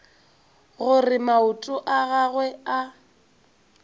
gore maoto a gagwe a